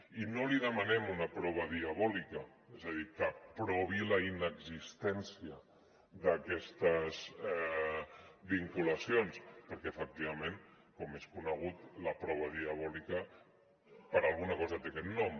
i no li demanem una prova diabòlica és a dir que provi la inexistència d’aquestes vinculacions perquè efectivament com és conegut la prova diabòlica per alguna cosa té aquest nom